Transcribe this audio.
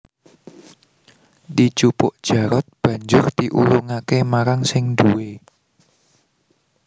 Dijupuk Jarot banjur diulungake marang sing duwé